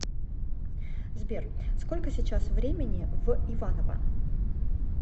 сбер сколько сейчас времени в иваново